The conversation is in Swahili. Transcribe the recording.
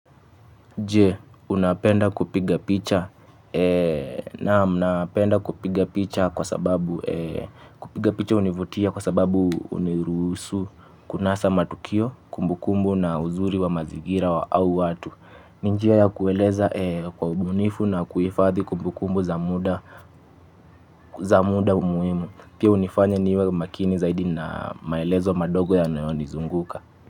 Je, unapenda kupiga picha? Naam napenda kupiga picha kwa sababu hunivutia kwa sababu hunirusu kunasa matukio kumbukumbu na uzuri wa mazigira au watu. Ni njia ya kueeleza kwa ubunifu na kuhifadhi kumbukumbu za muda muhimu. Pia hunifanya niwe makini zaidi na maelezo madogo yanayonizunguka.